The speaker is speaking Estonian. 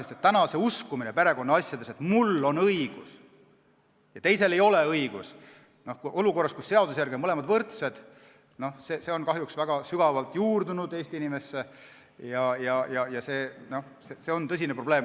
See usk perekonnaasjades, et mul on õigus ja teisel ei ole õigus, seda olukorras, kus seaduse järgi on mõlemad võrdsed, on kahjuks väga sügavalt juurdunud Eesti inimesse ja see on tõsine probleem.